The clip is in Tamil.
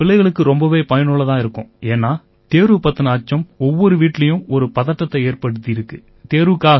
சார் இது பிள்ளைங்களுக்கு ரொம்பவே பயனுள்ளதா இருக்கும் ஏன்னா தேர்வு பத்தின அச்சம் ஒவ்வொரு வீட்டிலயும் ஒரு பதட்டத்தை ஏற்படுத்தியிருக்கு